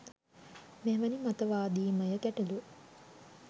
මෙවැනි මතවාදීමය ගැටලු